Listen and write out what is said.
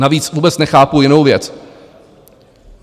Navíc vůbec nechápu jinou věc.